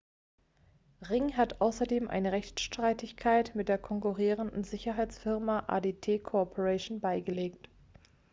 ring hat außerdem eine rechtsstreitigkeit mit der konkurrierenden sicherheitsfirma adt corporation beigelegt